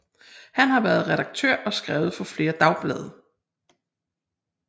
Han har været redaktør og skrevet for flere dagblade